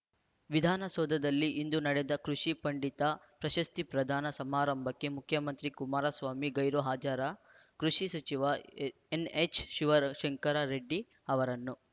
ವಿಧಾನ ಸೌಧದಲ್ಲಿ ಇಂದು ನಡೆದ ಕೃಷಿ ಪಂಡಿತ ಪ್ರಶಸ್ತಿ ಪ್ರದಾನ ಸಮಾರಂಭಕ್ಕೆ ಮುಖ್ಯಮಂತ್ರಿ ಕುಮಾರ ಸ್ವಾಮಿ ಗೈರು ಹಾಜರಾಜರ ಕೃಷಿ ಸಚಿವ ಹ್ ಎನ್ಹೆಚ್ ಶಿವಶಂಕರ ರೆಡ್ಡಿ ಅವರನ್ನು